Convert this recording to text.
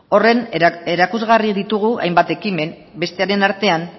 horren erakusgarri ditugu hainbat ekimen bestearen artean